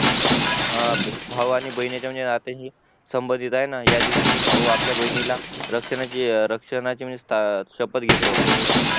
हा भावा आणि बहिणीचा नात्यांची संबंधित हाय ना या दिवशी म्हणजे भाऊ आपल्या बहिणीला रक्षणाची शपत घेतो